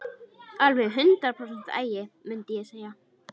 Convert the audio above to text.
Alveg hundrað prósent agi, mundi ég segja.